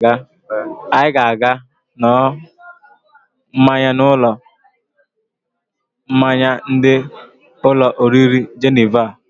Anyị ga-aga n̄ụọ mmanya n'ụlọ mmanya ndị ụlọ oriri Jeneva.